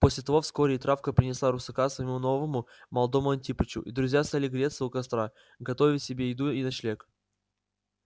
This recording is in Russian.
после того вскоре и травка принесла русака своему новому молодому антипычу и друзья стали греться у костра готовить себе еду и ночлег